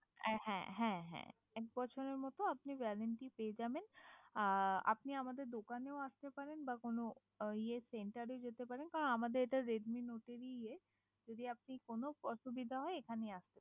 আর হ্যাঁ হ্যাঁ হ্যাঁ! এক বছরের মতো আপনি ওয়ারেন্টি পেয়ে যাবেন আপনি আমাদের দোকানেও আসতে পারেন বা কোনো ইয়ে সেন্টারও যেতে পারেন বা আমাদের এটা রেডমি নোটের এ ইয়ে আচ্ছা যদি আপনি কোনো অসুবিধা হয় এখানেই